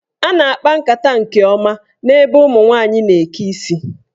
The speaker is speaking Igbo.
A na-akpa nkata nke ọma n'ebe ụmụnwanyị na-eke isi.